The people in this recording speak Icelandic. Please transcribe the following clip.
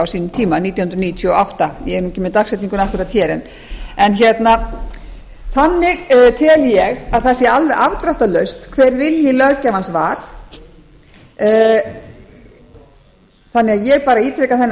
sínum tíma nítján hundruð níutíu og átta ég er ekki með dagsetninguna akkúrat hér þannig tel ég að það sé alveg afdráttarlaust hver vilji löggjafans var þannig að ég ítreka þennan